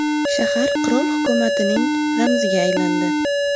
Shahar qirol hukumatining ramziga aylandi.